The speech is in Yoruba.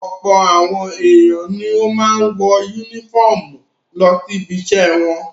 Ọ̀pọ̀ àwọn ènìyàn ni ó máa ń wọ únífọ́ọ́mù lọ ibiṣẹ́ wọn.